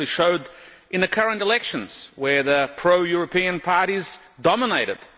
They actually showed this in the current elections where the pro European parties dominated.